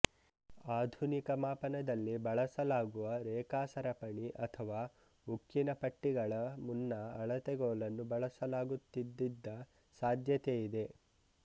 ಆಧುನಿಕ ಮಾಪನದಲ್ಲಿ ಬಳಸಲಾಗುವ ರೇಖಾ ಸರಪಣಿ ಅಥವಾ ಉಕ್ಕಿನ ಪಟ್ಟಿಗಳ ಮುನ್ನ ಅಳತೆಗೋಲನ್ನು ಬಳಸಲಾಗುತ್ತಿದ್ದಿದ್ದ ಸಾಧ್ಯತೆಯಿದೆ